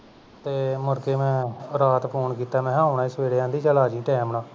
ਤੇ ਮੁੜਕੇ ਮੈਂ ਰਾਤ phone ਕੀਤਾ ਆਉਣਾ ਹੀ ਮੈਂ ਸਵੇਰੇ ਆਦੀ ਚਲ ਸਵੇਰੇ ਆ ਜਾਵੀਂ time ਨਾਲ